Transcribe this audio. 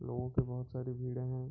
लोगों की बहोत सारी भीड़ें हैं।